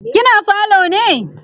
kina falo ne?